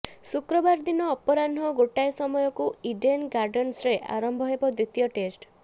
ଶୁକ୍ରବାର ଦିନ ଅପରାହ୍ନ ଗୋଟାଏ ସମୟରୁ ଇଡେନ୍ ଗାର୍ଡନ୍ସରେ ଆରମ୍ଭ ହେବ ଦ୍ୱିତୀୟ ଟେଷ୍ଟ